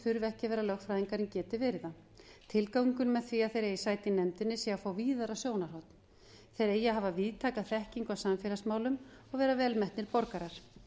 þurfi ekki að vera lögfræðingar en geti verið það tilgangurinn með því að þeir eigi sæti í nefndinni sé að fá víðara sjónarhorn þeir eigi að hafa víðtæka þekkingu á samfélagsmálum og vera vel metnir borgarar